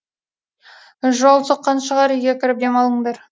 жол соққан шығар үйге кіріп демалыңдар